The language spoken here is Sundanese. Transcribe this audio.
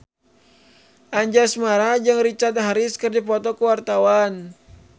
Anjasmara jeung Richard Harris keur dipoto ku wartawan